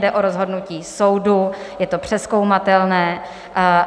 Jde o rozhodnutí soudu, je to přezkoumatelné.